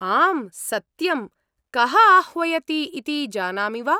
आम्, सत्यम्। कः आह्वयति इति जानामि वा?